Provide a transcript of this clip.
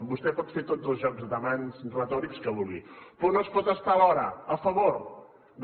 vostè pot fer tots els jocs de mans retòrics que vulgui però no es pot estar alhora a favor de la